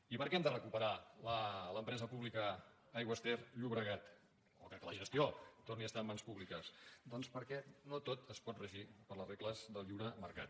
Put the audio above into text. i per què hem de recuperar l’empresa pública aigües ter llobregat o que la gestió torni a estar en mans públiques doncs perquè no tot es pot regir per les regles del lliure mercat